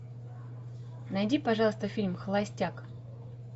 найди пожалуйста фильм холостяк